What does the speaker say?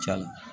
Ca